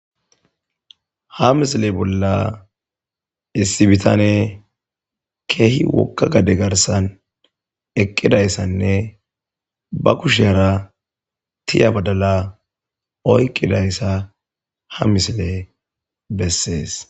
ha misile bolla issibitane keehi wokka gade garsan eqqidayssanne ba kusheera tiya badala oykqidayssa ha misile bessees